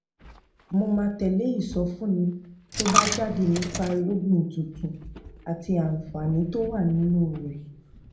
mo máa tè lé ìsọfúnni tó bá jáde nípa irúgbìn tuntun àti àǹfààní tó wà nínú rè